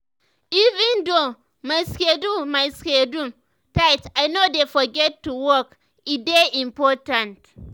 even though my schedule my schedule tight i no dey forget to walk e dey important.